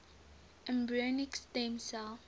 embryonic stem cell